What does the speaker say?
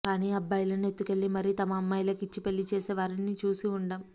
కానీ అబ్బాయిలను ఎత్తుకెళ్లి మరీ తమ అమ్మాయిలకు ఇచ్చి పెళ్లి చేసే వారిని చూసి ఉండం